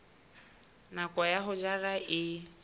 nako ya ho jala e